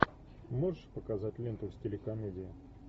можешь показать ленту в стиле комедия